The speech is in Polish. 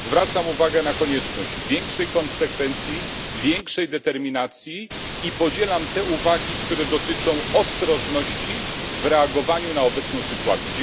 Zwracam uwagę na konieczność większej konsekwencji, większej determinacji i podzielam te uwagi, które dotyczą ostrożności w reagowaniu na obecną sytuację.